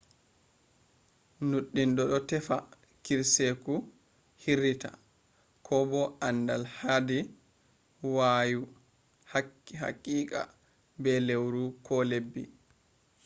nuddindo do tefa kirseeku hirrita ko bo andal hader waayu hakika/be lawru ko labbi